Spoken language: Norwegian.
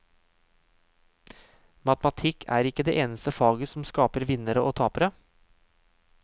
Matematikk er ikke det eneste faget som skaper vinnere og tapere.